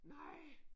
Nej